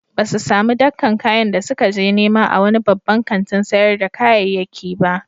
Ba su sami dakkan kayan da suka je nema a wani babban kantin sayar da kayayyaki ba.